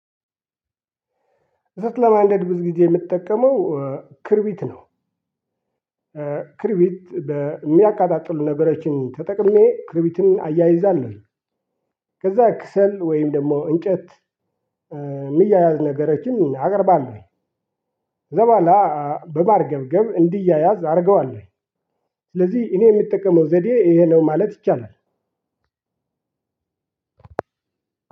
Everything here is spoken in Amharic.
እሰት ለማንደድ ብዙ ጊዜ ምጠቀመው ክርቢት ነው። ክርቢት በሚያቀጣጥሉ ነገሮችን ተጠቅሜ ክርቢትን አያይዛለሁኝ። ከዛ ከሰል ወይም ደግሞ እንጨት ሚያያዝ ነገሮችን አቀርባለሁኝ። ከዛ በኋላ በማርገብገብ እንዲያያዝ አረገዋለሁኝ። ስለዚህ እኔ ምጠቀመው ዘዴ ይሄ ነው ማለት ይቻላል።